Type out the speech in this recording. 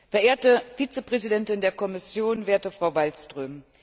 Verehrte Vizepräsidentin der Kommission, werte Frau Wallström!